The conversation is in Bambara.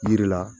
Yiri la